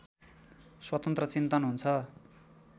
स्वतन्त्र चिन्तन हुन्छ